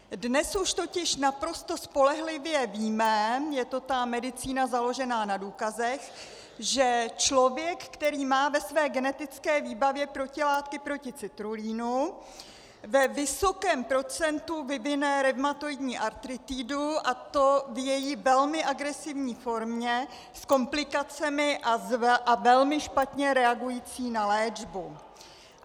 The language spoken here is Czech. Dnes už totiž naprosto spolehlivě víme, je to ta medicína založená na důkazech, že člověk, který má ve své genetické výbavě protilátky proti citrulinu, ve vysokém procentu vyvine revmatoidní artritidu, a to v její velmi agresivní formě, s komplikacemi a velmi špatně reagující na léčbu.